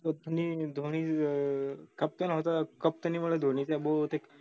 धोनी धोनी अं captain होता captain मुळे धोनी त्या बहुते